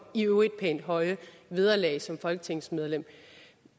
i øvrigt pænt høje vederlag som folketingsmedlem